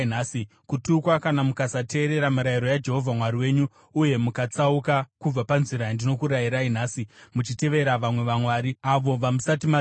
kutukwa kana mukasateerera mirayiro yaJehovha Mwari wenyu uye mukatsauka kubva panzira yandinokurayirai nhasi muchitevera vamwe vamwari, avo vamusati maziva.